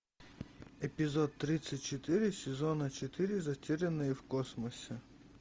эпизод тридцать четыре сезона четыре затерянные в космосе